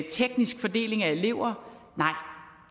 teknisk fordeling af eleverne nej